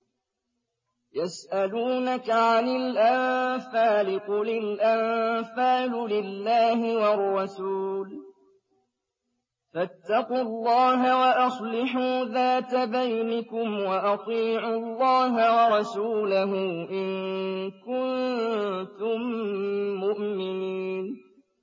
يَسْأَلُونَكَ عَنِ الْأَنفَالِ ۖ قُلِ الْأَنفَالُ لِلَّهِ وَالرَّسُولِ ۖ فَاتَّقُوا اللَّهَ وَأَصْلِحُوا ذَاتَ بَيْنِكُمْ ۖ وَأَطِيعُوا اللَّهَ وَرَسُولَهُ إِن كُنتُم مُّؤْمِنِينَ